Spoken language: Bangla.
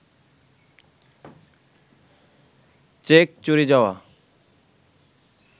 চেক চুরি যাওয়া